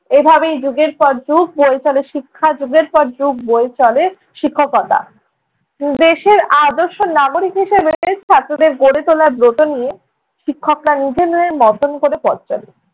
এভাবেই যুগের পর যুগ বয়ে চলে শিক্ষা, যুগের পর যুগ বয়ে চলে শিক্ষকতা। দেশের আদর্শ নাগরিক হিসেবে ছাত্রদের গড়ে তোলার ব্রত নিয়ে শিক্ষকরা নিজেদের মতন করে পথ চলেন।